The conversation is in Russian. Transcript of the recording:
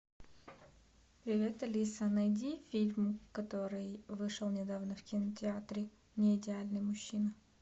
привет алиса найди фильм который вышел недавно в кинотеатре неидеальный мужчина